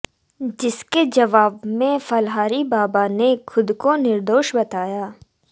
जिसके जवाब में फलाहारी बाबा ने खुद को निर्दोष बताया